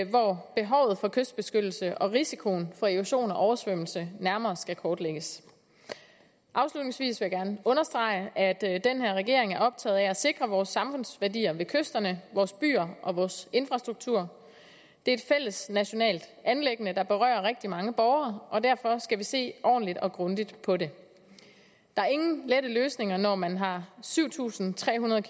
hvor behovet for kystbeskyttelse og risikoen for erosion og oversvømmelse nærmere skal kortlægges afslutningsvis vil jeg gerne understrege at den her regering er optaget af at sikre vores samfundsværdier ved kysterne vores byer og vores infrastruktur det er et fælles nationalt anliggende der berører rigtig mange borgere og derfor skal vi se ordentligt og grundigt på det der er ingen lette løsninger når man har syv tusind tre hundrede